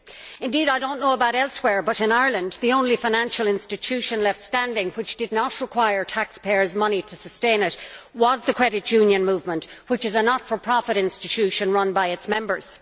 Indeed, I do not know about elsewhere, but in Ireland, the only financial institution left standing that did not require taxpayers' money to sustain it was the credit union movement, which is a not for profit institution run by its members.